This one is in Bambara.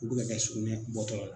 U dɔw ka sukunɛ bɔ tɔ.